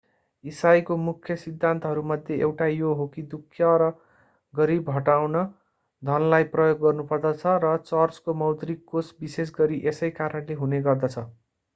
इसाईको मुख्य सिद्धान्तहरूमध्ये एउटा यो हो कि दुःख र गरीबी हटाउन धनलाई प्रयोग गर्नुपर्दछ र चर्चको मौद्रिक कोष विशेषगरी यसै कारणले हुने गर्दछ